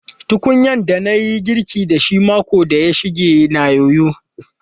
Tukunyan da na yi girkin da shi makon da ya shige na yoyo.